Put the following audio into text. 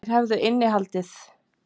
Þeir hefðu innihald.